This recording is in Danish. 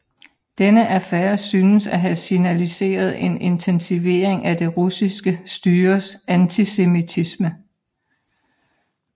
Denne affære synes at have signaliseret en intensivering af det russiske styres antisemitisme